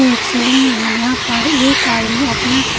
यह एक सैलून है जहा पर एक आदमी अपना--